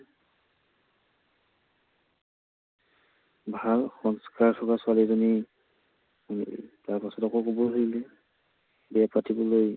ভাল সংস্কাৰ থকা ছোৱালী এজনী আনিবি। তাৰপাছত আকৌ কবলৈ ধৰিলে বিয়া পাতিবলৈ